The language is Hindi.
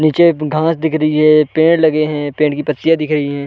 नीचे घांस दिख रही हैं। पेड़ लगे हैं। पेड़ की पत्तियाँ दिख रही हैं।